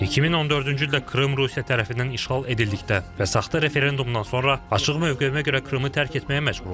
2014-cü ildə Krım Rusiya tərəfindən işğal edildikdə və saxta referendumdan sonra açıq mövqeyimə görə Krımı tərk etməyə məcbur oldum.